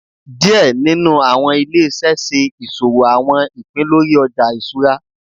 Díẹ̀ nínú àwọn ilé iṣẹ ṣe ìṣòwò àwọn ìpín lórí Ọjà iṣura.